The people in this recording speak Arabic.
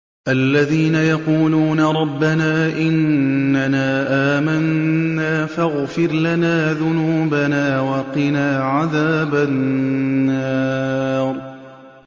الَّذِينَ يَقُولُونَ رَبَّنَا إِنَّنَا آمَنَّا فَاغْفِرْ لَنَا ذُنُوبَنَا وَقِنَا عَذَابَ النَّارِ